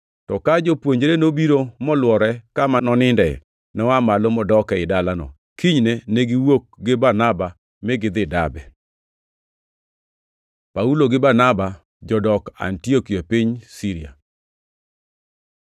To ka jopuonjre nobiro molwore kama noninde, noa malo modok ei dalano. Kinyne ne giwuok gi Barnaba mi gidhi Derbe. Paulo gi Barnaba jodok Antiokia e piny Siria